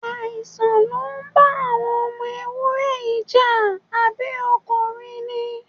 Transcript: Àìsàn ló ń bá àwọn ọmọ ewúré yìí jà, àbí o kò rí ni?